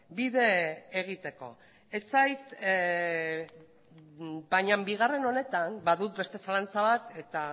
bide egiteko baina bigarren honetan badut beste zalantza bat eta